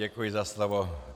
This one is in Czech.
Děkuji za slovo.